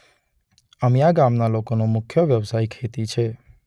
અમીયા ગામના લોકોનો મુખ્ય વ્યવસાય ખેતી છે.